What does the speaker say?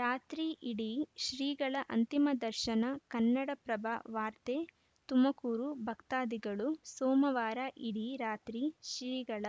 ರಾತ್ರಿ ಇಡೀ ಶ್ರೀಗಳ ಅಂತಿಮ ದರ್ಶನ ಕನ್ನಡಪ್ರಭ ವಾರ್ತೆ ತುಮಕೂರು ಭಕ್ತಾದಿಗಳು ಸೋಮವಾರ ಇಡೀ ರಾತ್ರಿ ಶ್ರೀಗಳ